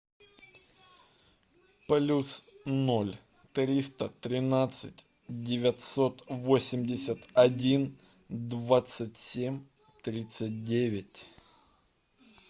плюс ноль триста тринадцать девятьсот восемьдесят один двадцать семь тридцать девять